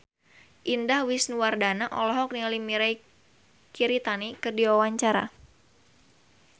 Indah Wisnuwardana olohok ningali Mirei Kiritani keur diwawancara